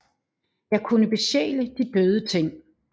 Jeg kunne besjæle de døde ting